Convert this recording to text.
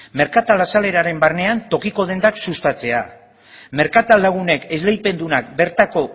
merkatal azaleraren barnean tokiko dendak sustatzea merkatal lagunek esleipendunak bertako